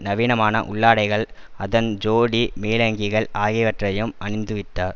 நவீனமான உள்ளாடைகள் அதன் ஜோடி மேலங்கிகள் ஆகியவற்றையும் அணிந்துவித்தார்